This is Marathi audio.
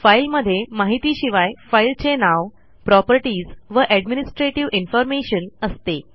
फाईलमध्ये माहितीशिवाय फाईलचे नाव प्रॉपर्टीज व एडमिनिस्ट्रेटिव्ह इन्फॉर्मेशन असते